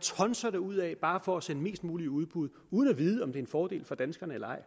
tonser derudad bare for at sende mest muligt i udbud uden at vide om det er en fordel for danskerne eller ej